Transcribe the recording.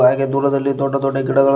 ಹಾಗೆ ದೂರದಲ್ಲಿ ದೊಡ್ಡ ದೊಡ್ಡ ಗಿಡಗಳ--